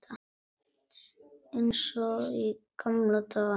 Eins og í gamla daga.